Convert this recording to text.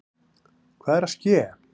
Hvað er að ske!